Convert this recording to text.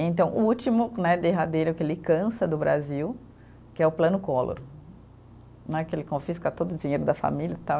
E então, o último né derradeiro que ele cansa do Brasil, que é o plano Collor né, que ele confisca todo o dinheiro da família, tal.